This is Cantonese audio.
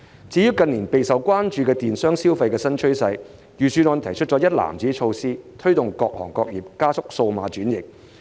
至於近年備受關注的電商消費新趨勢，預算案提出一籃子措施，推動各行各業加速數碼轉型。